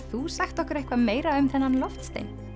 þú sagt okkur eitthvað meira um þennan loftstein